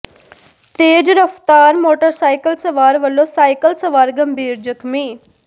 ਤੇਜ਼ ਰਫ਼ਤਾਰ ਮੋਟਰਸਾਈਕਲ ਸਵਾਰ ਵਲੋਂ ਸਾਈਕਲ ਸਵਾਰ ਗੰਭੀਰ ਜ਼ਖ਼ਮੀ